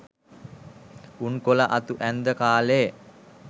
උන් කොල අතු ඇන්ද කාලෙ